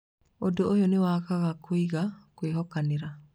Ũndũ ũyũ nĩ wakaga kũigua kwĩhokanĩra.